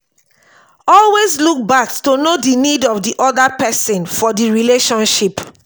always look back to know di needs of di oda person for di relationship